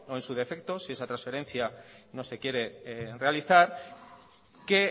en su defecto si esa transferencia no se quiere realizar que